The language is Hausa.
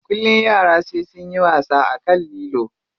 Kullum yara sai sunyi wasa akan lilo.